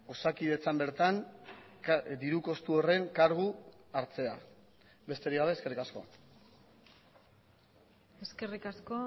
osakidetzan bertan diru kostu horren kargu hartzea besterik gabe eskerrik asko eskerrik asko